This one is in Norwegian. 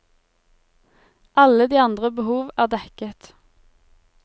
Alle de andre behov er dekket.